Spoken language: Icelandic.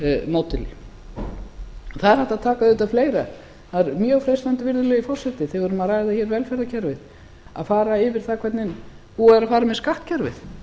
módeli það er hægt að taka auðvitað fleira það er mjög freistandi virðulegi forseti þegar við erum að ræða það hvernig búið er að fara með skattkerfið